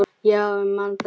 Já, ég man þetta allt.